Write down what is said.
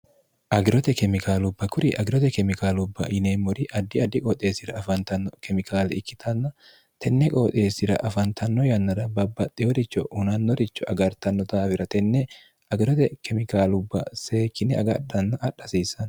agirote kemikaalubba kuri agirote kemikaalubba yineemmori addi addi qooxeessira afaantanno kemikaali ikkitanna tenne qooxeessira afantanno yannara babbaxxe woricho hunannoricho agartanno daawira tenne agirote kemikaalubba seekkine agadhanna adha hsiissano